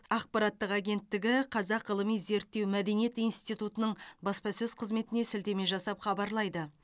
ақпараттық агенттігі қазақ ғылыми зерттеу мәдениет институтының баспасөз қызметіне сілтеме жасап хабарлайды